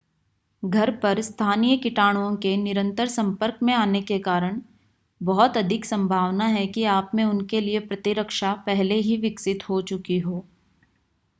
घर पर स्थानीय कीटाणुओं के निरंतर संपर्क में आने के कारण बहुत अधिक संभावना है कि आप में उनके लिए प्रतिरक्षा पहले ही विकसित हो चुकी हो